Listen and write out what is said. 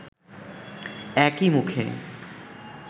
একই মুখে